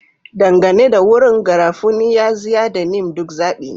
Dangane da wurin, garafuni, yaxiya, da neem duk zaɓi ne.